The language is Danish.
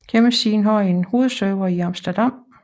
Hjemmesiden har en hovedserver i Amsterdam